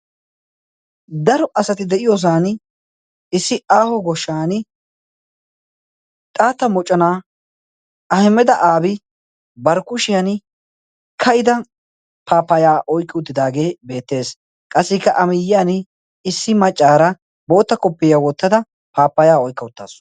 Daro asati de'iyoosaani issi aaho goshshaani xaatta moconaa ahimeda aabi bari kushiyaani ka'ida paappaya oyqqi uttidaagee beettes qassika a miyaani issi maccaara bootta koppiyaa wottad apaappayaa oyiqqa uttasu.